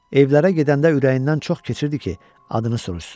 Evlərə gedəndə ürəyindən çox keçirdi ki, adını soruşsunlar.